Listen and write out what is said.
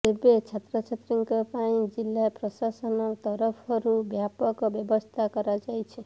ତେବେ ଛାତ୍ରଛାତ୍ରୀଙ୍କ ପାଇଁ ଜିଲ୍ଲା ପ୍ରଶାସନ ତରଫରୁ ବ୍ୟାପକ ବ୍ୟବସ୍ଥା କରାଯାଇଛି